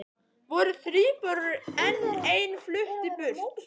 Voru þríburar en ein flutti burt